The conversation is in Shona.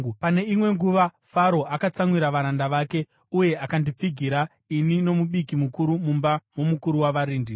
Pane imwe nguva Faro akatsamwira varanda vake, uye akandipfigira ini nomubiki mukuru mumba momukuru wavarindi.